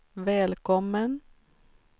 välkommen